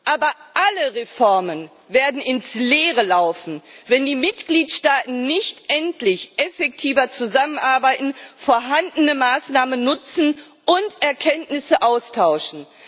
Aber alle Reformen werden ins Leere laufen, wenn die Mitgliedstaaten nicht endlich effektiver zusammenarbeiten, vorhandene Maßnahmen nutzen und Erkenntnisse austauschen.